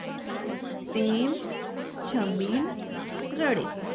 તેમ છબીલ રડે